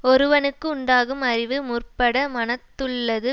ஒருவனுக்கு உண்டாகும் அறிவு முற்பட மனத்துள்ளது